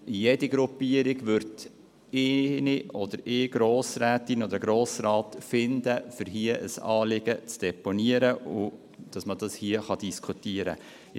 Jede Gruppierung wird eine Grossrätin oder einen Grossrat finden, um ihr Anliegen zu deponieren, damit dieses hier diskutiert werden kann.